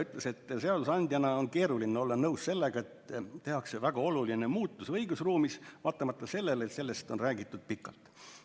Kolleeg Metsoja ütles, et seadusandjana on keeruline olla nõus sellega, et tehakse väga oluline muutus õigusruumis, vaatamata sellele, et sellest on räägitud pikalt.